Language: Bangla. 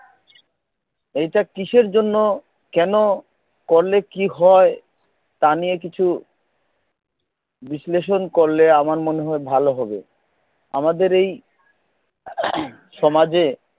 এইটা কিসের জন্য কেনো করলে কি হয় তা নিয়ে কিছু বিশ্লেষণ করলে আমার মনে হয় ভাল হবে আমাদের এই সমাজে